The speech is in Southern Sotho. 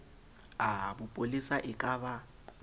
a bopolesa e ka ba